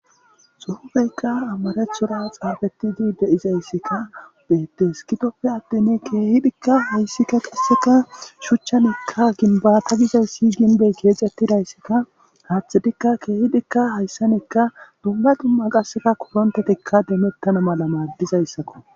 Suhufeykka amarechura xaafeti di de7izayssikka beettes kitoppe addin keehidhikka hayssikka qasseka shuchchanikka ginbata gizay si ginbey keexettidayssikka haathidikka keehidikka hayssanikka dumba dumma qasseka korontetikka deemettana mala maaddizayssakko.